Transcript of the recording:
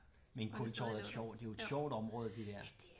Men Kultorvet er et sjovt det er jo et sjovt område det dér